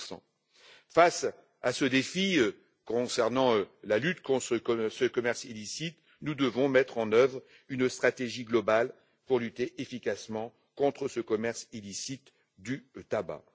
2 Face à ce défi concernant la lutte contre ce commerce illicite, nous devons mettre en œuvre une stratégie globale pour lutter efficacement contre ce commerce illicite du tabac.